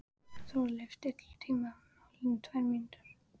Þórleif, stilltu tímamælinn á tvær mínútur.